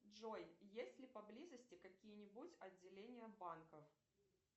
джой есть ли поблизости какие нибудь отделения банков